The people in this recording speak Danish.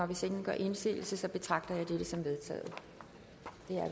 hvis ingen gør indsigelse betragter jeg dette som vedtaget